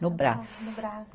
No Brás. No Brás.